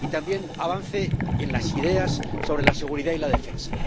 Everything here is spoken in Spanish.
Y también el avance en las ideas sobre la seguridad y la defensa.